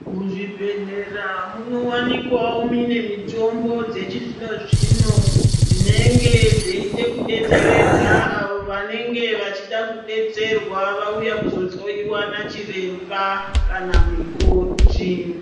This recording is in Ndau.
Muzvibhedhlera munowanikwawo mimwe mitombo dzechizvino zvino dzinenge dzeida kubetseredza avo vanenge vauya kuzohloyiwa nachiremba kana mukoti .